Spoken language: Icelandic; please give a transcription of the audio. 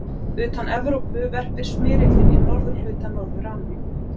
Utan Evrópu verpir smyrillinn í norðurhluta Norður-Ameríku.